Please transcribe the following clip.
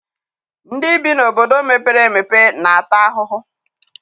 Ndị bi n'obodo mepere emepe na-ata ahụhụ.